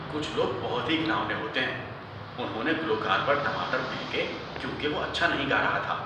کچھ لوگ بہت ہی گھناؤنے ہوتے ہیں۔ انہوں نے گلوکار پر ٹماٹر پھینکے کیونکہ وہ اچھا نہیں گا رہا تھا۔